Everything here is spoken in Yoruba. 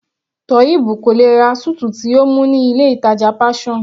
Toheeb kò lè ra suit tí ó mú ní ilé ìtàjà Passion.